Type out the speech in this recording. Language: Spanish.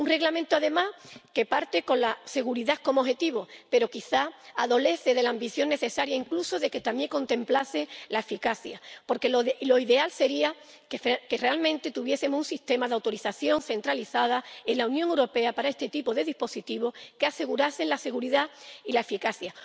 Un Reglamento, además, que parte con la seguridad como objetivo pero que, quizá, adolece de la falta de ambición necesaria. Sería necesario, incluso, que contemplase la eficacia, porque lo ideal sería que tuviésemos un sistema de autorización centralizado en la Unión Europea para este tipo de dispositivo, que asegurase la seguridad y la eficacia.